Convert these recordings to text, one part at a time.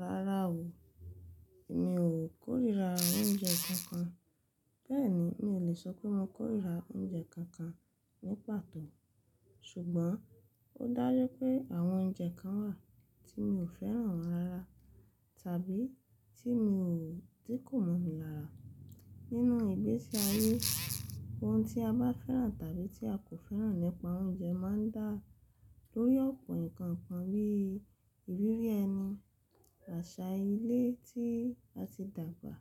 Rárá o, èmi ò kórìíra oúnjẹ kankan. Bẹ́ẹ̀ni, mi ò lè sọ pé mo kórìíra oúnjẹ kankan ní pàtó. Ṣùgbọ́n ó dájẹ́ pé àwọn oúnjẹ kan wà tí mi ò fẹ́ràn wọ́n rara tàbí tí mi ò tí kò mọmi lára. Nínú ìgbésí ayé, ohun tí a bá fẹ́ràn tàbí tí a kò fẹ́ràn nípa oúnjẹ máa ń dá lórí ọ̀pọ̀ nǹkan kan bí ìrírí ẹni, àṣà ilé tí a ti dàgbà,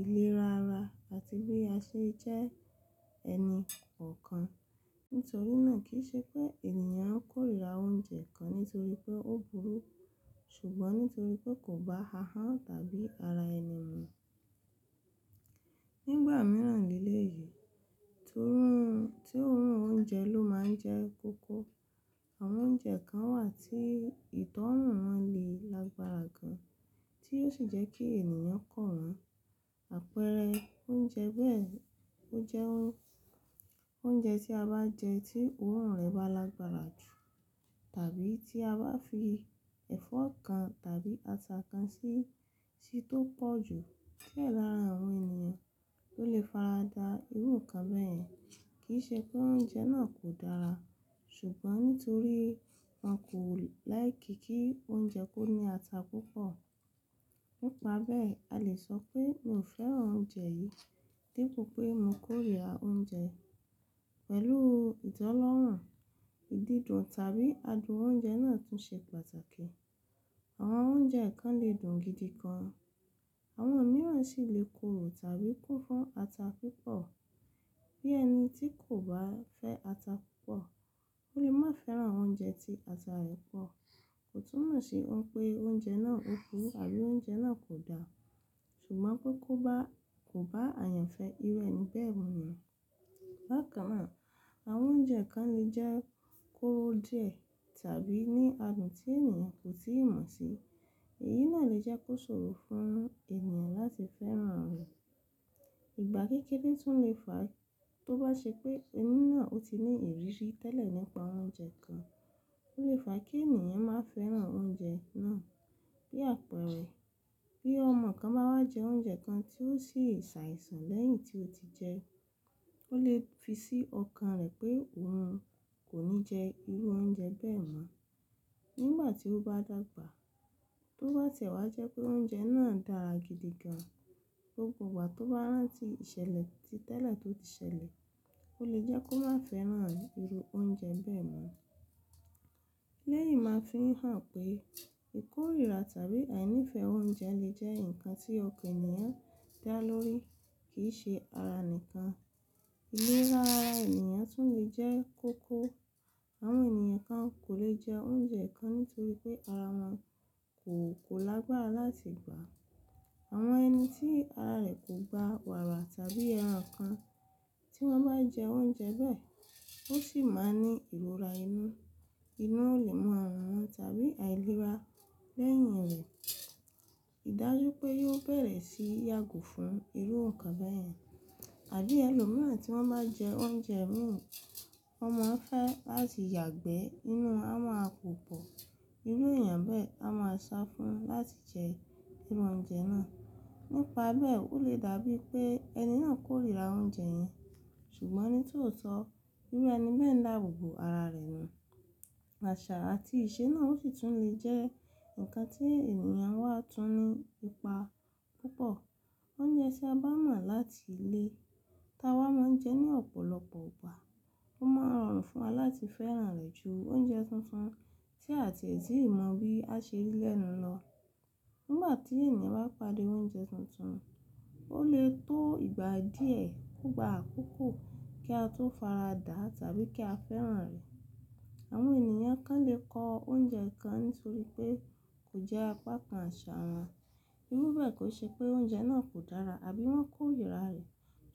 iléra ara àti bí a ṣe jẹ́ ẹni kọ̀ọ̀kan. Nítorí náà kì í ṣe pé ènìyàn á kórìíra oúnjẹ kan nítorí pé ó burú, ṣùgbọ́n nítorí pé kò bá ahọ́n tàbí ara ẹni mu. Nígbà mìíràn nílé yìí, tó rùn, tí òórùn oúnjẹ ló máa ń jẹ́ kókó. Àwọn oúnjẹ kan wà tí ìtọ́rùn wọn le lágbára gan, tí ó sì jẹ́ kí ènìyàn kọ̀ ọ́. Àpẹẹrẹ oúnjẹ bẹ́ẹ̀, ó jẹ́ oúnjẹ tí a bá jẹ tí òórùn rẹ̀ bá lágbára jù tàbí tí a bá fi ẹ̀fọ́ kan tàbí ata kan sí i tí tó pọ̀ jù. Kí è dára àwọn ènìyàn tó lè faradà irú nǹkan bẹ́ẹ̀ kì í ṣe pé oúnjẹ náà kò dára, ṣùgbọ́n nítorí wọn kò láìkí kí oúnjẹ kó ní ata púpọ̀. Nípa bẹ́ẹ̀, a lè sọ pé mi ò fẹ́ràn oúnjẹ yìí dípo pé mo kórìíra oúnjẹ. Pẹ̀lú ìtọ́lọ́rùn, ìdídùn tàbí adùn oúnjẹ náà tún ṣe pàtàkì. Àwọn oúnjẹ kan lè dùn gidi gan, àwọn mìíràn sì lè korò tàbí kún fún ata púpọ̀. Bí ẹni tí kò bá fẹ́ ata púpọ̀, ó lè má fẹ́ràn oúnjẹ tí ata rẹ̀ pọ̀. Kò túnmọ̀ sí ohun pé oúnjẹ náà ò kú tàbí oúnjẹ náà kò dá, ṣùgbọ́n pé kó ba, kò bá àyànfẹ́ irú ẹni bẹ́ẹ̀ mọ̀. Bákan náà, àwọn oúnjẹ kan lè jẹ́ kóró jẹ tàbí ní adùn tí ènìyàn kò tíì mọ̀ sí. Èyí náà lè jẹ́ kó ṣòro fún ènìyàn láti fẹ́ràn rẹ̀. Ìgbà kékéré tún lè fa tó bá ṣe pé ẹni náà ó ti ní ìrírí tẹ́lẹ̀ nípa oúnjẹ kan, ó lè fa kí ènìyàn má fẹ́ràn oúnjẹ náà. Bí àpẹẹrẹ, bí ọmọ kan bá wá jẹ oúnjẹ kan tí ó sì ṣàìsàn lẹ́yìn tí ó ti jẹ ẹ́, ó lè fi sí ọkàn rẹ̀ pé òun kò ní jẹ irú oúnjẹ bẹ́ẹ̀ mọ́. Nígbà tí ó bá dàgbà, tó bá tiẹ̀ wá jẹ́ pé oúnjẹ náà dára gidi gan, gbógbọ̀ igá tó bá rán tí ìṣẹ̀lẹ̀ ti tẹ́lẹ̀ tó ti ṣẹlẹ̀, ó lè jẹ́ kó má fẹ́ràn irú oúnjẹ bẹ́ẹ̀ mọ́. Léyìí máa ń fihàn pé ìkórìíra tàbí àìní ìfẹ́ oúnjẹ lè jẹ́ nǹkan tí ọkàn ènìyàn dá lórí, kì í ṣe ara nìkan. Iléra ara ènìyàn tún lè jẹ́ kóko. Àwọn ènìyàn kan kò lè jẹ oúnjẹ kan nítorí pé ara wọn kò, kò lágbára láti gbà. Àwọn ẹni tí ara rẹ̀ kò gba wàrà tàbí ẹran kan, tí wọ́n bá jẹ oúnjẹ bẹ́ẹ̀, ó sì máa ní ìrora inú. Inú ò lè màà rùn wọn tàbí àìlera lẹ́yìn rẹ̀. Ìdájú pé yóò bẹ̀rẹ̀ sí yàgò fún irú nǹkan bẹ́ẹ̀. Àbí ẹlòmíràn tí wọ́n bá jẹ oúnjẹ mú, ọmọ ń fẹ́ láti yàgbẹ́ inú a máa púpọ̀. Irú ènìyàn bẹ́ẹ̀ a máa sọ fún láti jẹ irú oúnjẹ náà. Nípa bẹ́ẹ̀ ó lè dàbí pé ẹni náà kórìíra oúnjẹ yẹn, ṣùgbọ́n ní tòótọ́, rírá ẹni bẹ́ẹ̀ ń dàbò bo ara rẹ̀ nù. Àṣà àti ìṣe náà ó sì tún lè jẹ́ nǹkan tí ènìyàn wá tún ní ipa púpọ̀. Oúnjẹ tí a bá mọ̀ láti ilé tá wa máa ń jẹ ní ọ̀pọ̀lọpọ̀ ìgbà, ó máa rọrùn fún wa láti fẹ́ràn rẹ̀ ju oúnjẹ tuntun tí àti ẹ̀ sì í mọ̀ wí a ṣe lélẹ̀ẹ́nu lọ. Nígbà tí ènìyàn bá pàdé oúnjẹ tuntun, ó lè tó ìgbà díẹ̀ kó gba àkókò kí a tó faradà tàbí kí a fẹ́ràn rẹ̀. Àwọn ènìyàn kan lè kọ oúnjẹ kan nítorí pé kò jẹ́ apá kan àṣà wọn. Irú bẹ́ẹ̀ kò ṣe pé oúnjẹ náà kò dára àbí wọ́n kórìíra rẹ̀,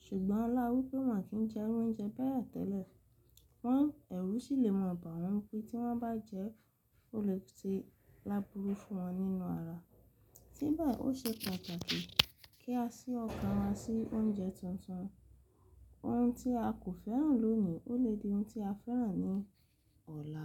ṣùgbọ́n láwú pé wọn kì í jẹ irú oúnjẹ bẹ́ẹ̀ tẹ́lẹ̀. Wọ́n ẹ̀rú sì lè mọ̀ bá wọn pé tí wọ́n bá jẹ ẹ́ ó lè ti lábúru fún wọn nínú ara. Ní báyìí ó ṣe pàtàkì kí a ṣí ọkàn wa sí oúnjẹ tuntun. Ohun tí a kò fẹ́ràn lónìí ó lè di ohun tí a fẹ́ràn ní ọ̀la.